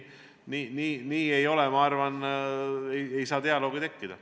Nii ei saa, ma arvan, dialoogi tekkida.